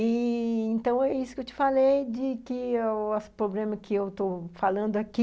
E... então, é isso que eu te falei de que o problema que eu estou falando aqui